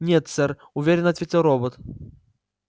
нет сэр уверенно ответил робот